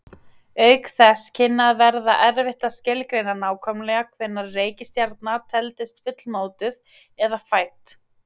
Auk þess kynni að verða erfitt að skilgreina nákvæmlega hvenær reikistjarna teldist fullmótuð eða fædd.